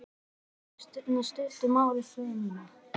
Ég sagði Öllu í stuttu máli sögu mína.